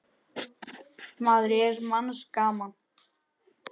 maður er manns gaman.